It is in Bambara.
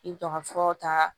I bɛ dɔ ka furaw ta